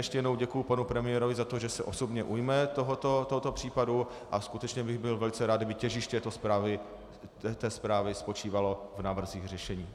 Ještě jednou děkuji panu premiérovi za to, že se osobně ujme tohoto případu, a skutečně bych byl velice rád, kdyby těžiště té zprávy spočívalo v návrzích řešení.